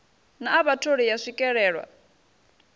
na a vhatholi ya swikelelwa